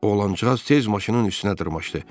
Oğlancıq tez maşının üstünə dırmaşdı.